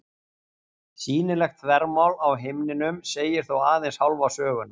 Sýnilegt þvermál á himninum segir þó aðeins hálfa söguna.